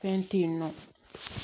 Fɛn te yen nɔ